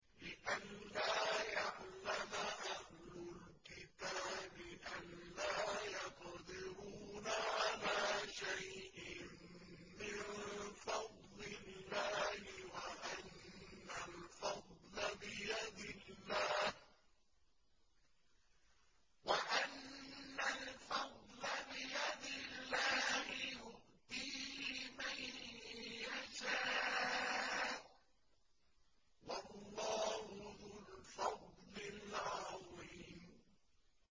لِّئَلَّا يَعْلَمَ أَهْلُ الْكِتَابِ أَلَّا يَقْدِرُونَ عَلَىٰ شَيْءٍ مِّن فَضْلِ اللَّهِ ۙ وَأَنَّ الْفَضْلَ بِيَدِ اللَّهِ يُؤْتِيهِ مَن يَشَاءُ ۚ وَاللَّهُ ذُو الْفَضْلِ الْعَظِيمِ